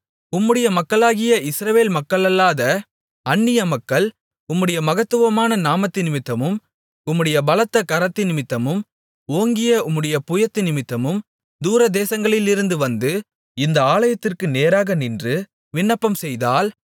உம்முடைய மக்களாகிய இஸ்ரவேல் மக்களல்லாத அந்நிய மக்கள் உம்முடைய மகத்துவமான நாமத்தினிமித்தமும் உம்முடைய பலத்த கரத்தினிமித்தமும் ஓங்கிய உம்முடைய புயத்தினிமித்தமும் தூரதேசங்களிலிருந்து வந்து இந்த ஆலயத்திற்கு நேராக நின்று விண்ணப்பம்செய்தால்